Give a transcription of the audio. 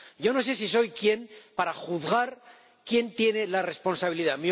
Yo no sé si soy quién para juzgar quién tiene la responsabilidad.